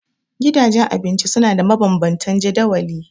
Gidajen abinci suna da mabanban tan jadawali.